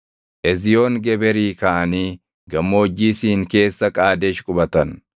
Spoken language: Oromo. Eziyoon Geberii kaʼanii Gammoojjii Siin keessa Qaadesh qubatan.